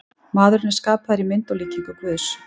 Maðurinn er skapaður í mynd og líkingu Guðs.